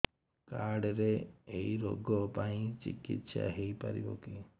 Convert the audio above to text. card ରେ ଏଇ ରୋଗ ପାଇଁ ଚିକିତ୍ସା ହେଇପାରିବ କି